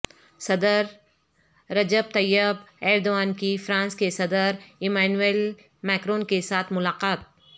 صدر Recep Tayyip Erdogan کی France کے صدر امانوئیل ماکرون کے ساتھ ملاقات